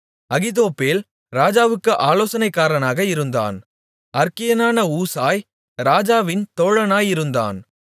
அகித்தோப்பேல் ராஜாவுக்கு ஆலோசனைக்காரனாக இருந்தான் அற்கியனான ஊசாய் ராஜாவின் தோழனாயிருந்தான்